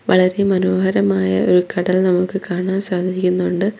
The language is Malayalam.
വളരെ മനോഹരമായ ഒരു കടൽ നമുക്ക് കാണാൻ സാധിക്കുന്നുണ്ട്.